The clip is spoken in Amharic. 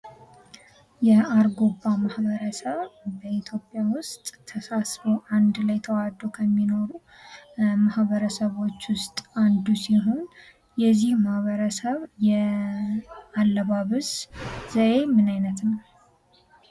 የአርጎባ ማህበረሰብ በኢትዮጵያ ውስጥ ተሳስቦ አንድ ላይ ተዋደው ከሚኖሩ ማህበረሰቦች ውስጥ አንዱ ሲሆን የዚህ ማህበረሰብ ያለባበስ ዘዬ ምን አይነት ነው።